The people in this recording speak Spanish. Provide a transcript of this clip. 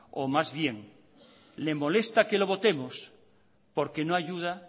o más bien le molesta que lo votemos porque no ayuda